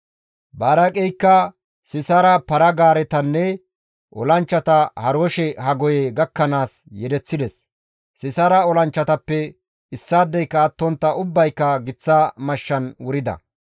Baraaqeykka Sisaara para-gaaretanne olanchchata Haroshe-Hagoye gakkanaas yedeththides; Sisaara olanchchatappe issaadeyka attontta ubbayka giththa mashshan wurida.